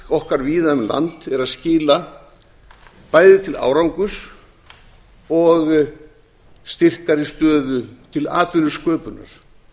okkar víða um land er að skila bæði til árangurs og styrkari stöðu til atvinnusköpunar